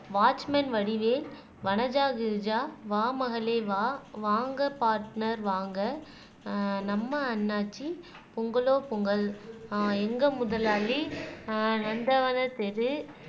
watchman Vadivel Vanaja Girija வா மகளே வா வாங்க பார்ட்னர் வாங்க அஹ் நம்ம அண்ணாச்சி பொங்கலோ பொங்கல் ஆஹ் எங்க முதலாளி ஆஹ் நந்தவனத் தெரு